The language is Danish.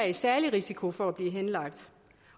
en særlig risiko for at blive henlagt